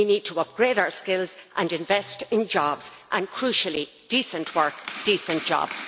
We need to upgrade our skills and invest in jobs and, crucially, decent work and decent jobs.